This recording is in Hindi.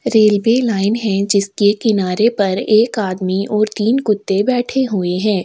रेलवे लाइन है जिसके किनारे पर एक आदमी और तीन कुत्ते बैठे हुए है।